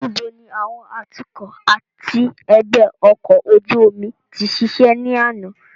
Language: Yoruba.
Níbo ni àwọn atukọ̀ àti ẹgbẹ́ ọkọ̀ ojú omi ti ṣiṣẹ́ ní àná?